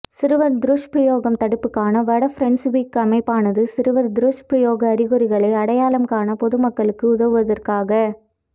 சிறுவர் துஷ்பிரயோகம் தடுப்புக்கான வட பிரன்சுவிக் அமைப்பானது சிறுவர் துஷ்பிரயோக அறிகுறிகளை அடையாளம் காண பொது மக்களுக்கு உதவுவதற்காக